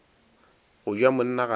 go ja monna ga se